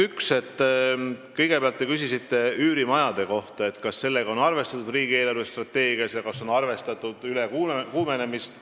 Te küsisite üürimajade kohta, kas sellega on arvestatud riigi eelarvestrateegias ja kas on arvestatud ülekuumenemist.